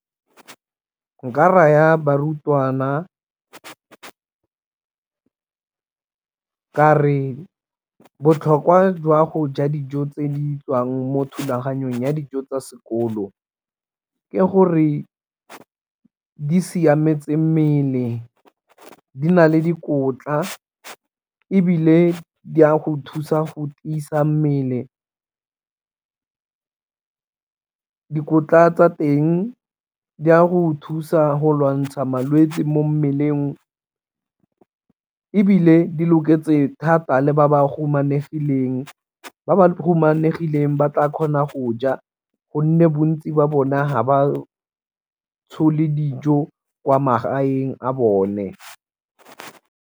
Nka raya barutwana ka re botlhokwa jwa go ja dijo tse di tswang mo thulaganyong ya dijo tsa sekolo, ke gore di siametse mmele di na le dikotla ebile di a go thusa go tiisa mmele. Dikotla tsa teng di a go thusa go lwantsha malwetsi mo mmeleng ebile di loketseng thata le ba bahumanegileng, ba ba humanegileng ba tla kgona go ja gonne bontsi ba bone ha ba dijo kwa magaeng a bone.